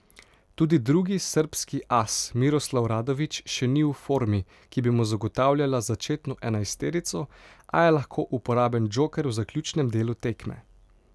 Tudi drugi srbski as Miroslav Radović še ni v formi, ki bi mu zagotavljala začetno enajsterico, a je lahko uporaben džoker v zaključnem delu tekme.